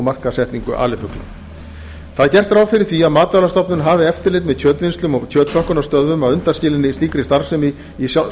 markaðssetningu alifugla gert er ráð fyrir að matvælastofnun hafi eftirlit með kjötvinnslum og kjötpökkunarstöðvum að undanskilinni slíkri starfsemi í